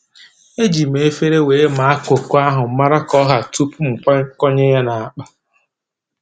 E ji m efere wee maa koko ahụ, mara ka ọ ha tupuu m kwakọnye ya n'akpa